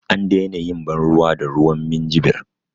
An daina yin ban ruwa da ruwan minjibir